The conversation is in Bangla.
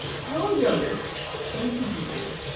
পাওয়াই যাবে তো tension কিসের?